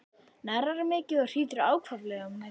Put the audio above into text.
Hnerrar mikið og hrýtur ákaflega um nætur.